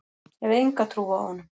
Hef enga trú á honum.